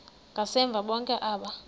ngasemva bonke aba